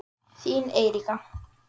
Þín Eiríka.